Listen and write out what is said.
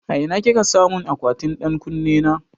A ina kika samun akwatin ɗan ƙunne na?